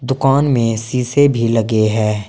दुकान में शीशे भी लगे है।